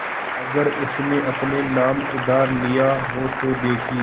अगर उसने अपने नाम उधार लिखा हो तो देखिए